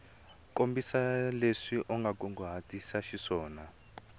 kombisa leswi u kunguhatiseke xiswona